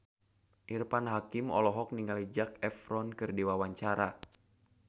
Irfan Hakim olohok ningali Zac Efron keur diwawancara